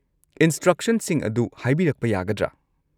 ꯏꯟꯁꯇ꯭ꯔꯛꯁꯟꯁꯤꯡ ꯑꯗꯨ ꯍꯥꯏꯕꯤꯔꯛꯄ ꯌꯥꯒꯗ꯭ꯔꯥ?